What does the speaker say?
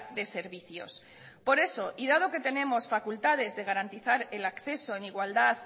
de servicios por eso y dado que tenemos facultades de garantizar el acceso en igualdad